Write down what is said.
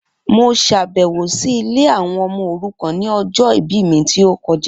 Mo ṣàbẹ̀wọ̀ si ilé àwọn ọmọ òrukàn ni ọjọ ìbí mi ti o kojá